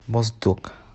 моздок